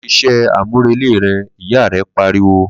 Lo se isé àmúrelé re!' ìyá re pariwo